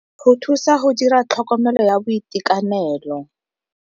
Go thusa go dira tlhokomelo ya boitekanelo.